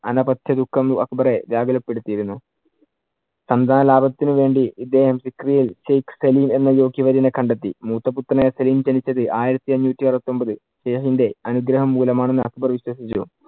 അനവത്യ ദുഃഖം അക്ബറെ വ്യാകുല പെടുത്തിയിരുന്നു. സന്താന ലാഭത്തിനു വേണ്ടി ഇദ്ദേഹം ഷേക്ക്‌ ഖലീൽ എന്ന യോഗ്യവര്യനെ കണ്ടെത്തി. മൂത്ത പുത്രനായ സലിം ജനിച്ചത് ആയിരത്തി അഞ്ഞൂറ്റി അറുപത്തിയൊമ്പത് അനുഗ്രഹം മൂലം ആണെന്ന് അക്ബർ വിശ്വസിച്ചു.